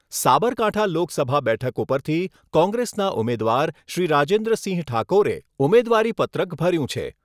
સાબરકાંઠા લોકસભા બેઠક ઉપરથી કોંગ્રેસના ઉમેદવાર શ્રી રાજેન્દ્રસિંહ ઠાકોરે ઉમેદવારીપત્રક ભર્યું છે.